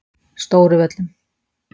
Stóruvöllum